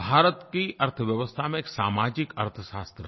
भारत की अर्थव्यवस्था में एक सामाजिक अर्थशास्त्र है